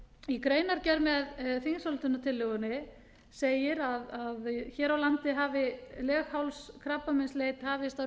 í greinargerð með þingsályktunartillögunni segir að hér á landi hafi leghálskrabbameinsleit hafist árið